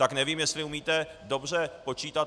Tak nevím, jestli umíte dobře počítat.